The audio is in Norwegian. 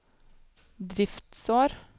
driftsår